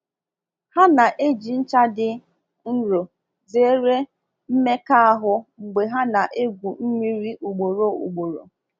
Ha na-eji ncha dị nro zere mmeka ahu mgbe ha na-egwu mmiri ugboro ugboro..